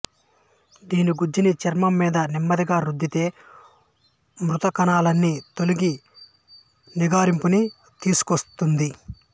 దీని గుజ్జుని చర్మంమీద నెమ్మదిగా రుద్దితే మృతకణాలన్నీ తొలగి నిగారింపుని తీసుకొస్తుంది